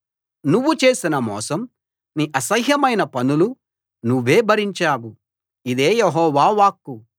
నువ్వు చేసిన మోసం నీ అసహ్యమైన పనులు నువ్వే భరించావు ఇదే యెహోవా వాక్కు